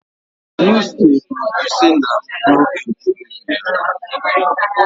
Wispy bụ isi nna m n'oge ntorobịa ya